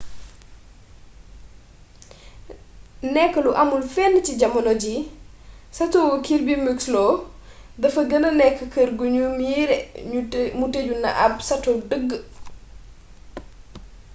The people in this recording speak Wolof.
nekk lu amul fenn ci jamono ji satowu kirby muxloe dafa gëna nekk kër gu nu miiree mu tëju ne ab sato dëgg